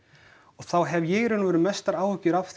þá hef ég mestar áhyggjur af því